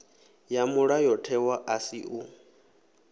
ya mulayotewa a si u